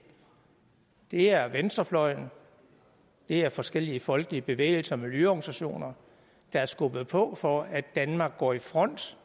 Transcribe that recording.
det er venstrefløjen det er forskellige folkelige bevægelser og miljøorganisationer der har skubbet på for at danmark går i front